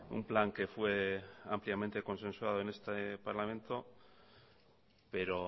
un plan que fue ampliamente consensuado en este parlamento pero